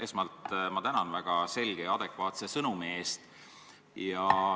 Esmalt ma tänan väga selge ja adekvaatse sõnumi eest.